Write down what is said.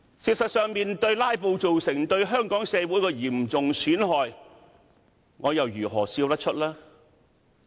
事實上，面對"拉布"為香港社會帶來的嚴重損害，我又如何笑得出來？